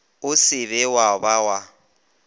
o se wa ba wa